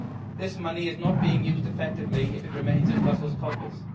This money is not being used effectively if it remains in Brussels' coffers.